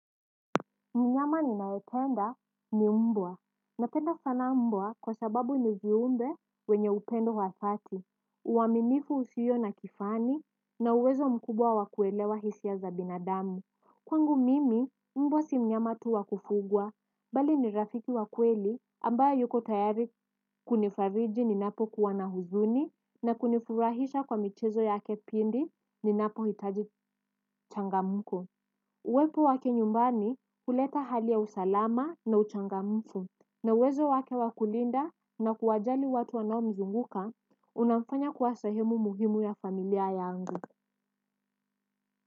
Mnyama ninaipenda ni mbwa. Napenda sana mbwa kwa sababu ni viumbe wenye upendo wa thati. Uaminifu usiyo na kifani na uwezo mkubwa wa kuelewa hisia za binadamu. Kwangu mimi, mbwa si mnyama tu wa kufugwa. Bali ni rafiki wa kweli ambaye yuko tayari kunifariji ninapokuwa na huzuni na kunifurahisha kwa michezo yake pindi ninapohitaji changamuko. Uwepo wake nyumbani huleta hali ya usalama na uchangamfu na uwezo wake wa kulinda na kuwajali watu wanao mzunguka unamfanya kuwa sahemu muhimu ya familia ya angu.